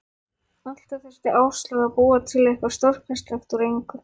Alltaf þurfti Áslaug að búa til eitthvað stórkostlegt úr engu.